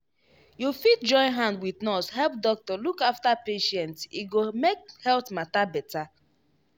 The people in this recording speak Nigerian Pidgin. you fit join hand wit nurse help doctor look after patient e go make health matter better.